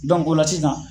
o la sisan